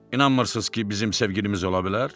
İnanmırsız ki, bizim sevgilimiz ola bilər?